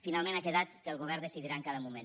finalment ha quedat que el govern decidirà en cada moment